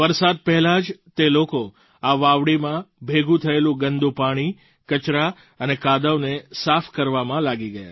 વરસાદ પહેલાં જ તે લોકો આ વાવડીમાં ભેગું થયેલું ગંદું પાણી કચરા અને કાદવને સાફ કરવામાં લાગી ગયા